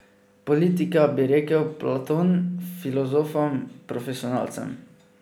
Politika, bi rekel Platon, filozofom, profesionalcem.